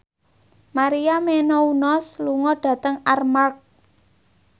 Maria Menounos lunga dhateng Armargh